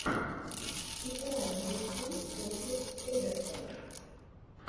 игра ливерпуль против эвертона